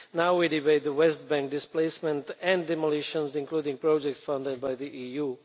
Now we debate the West Bank displacement and demolitions, including projects founded by the EU.